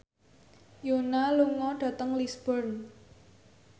Yoona lunga dhateng Lisburn